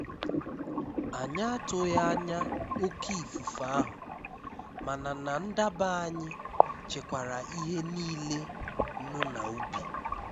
Ànyị́ àtụghí ányá óké ífúfé áhụ́, máná ná ndábá ànyị́ chékwàrá íhé níilé nụ́ ná úbí.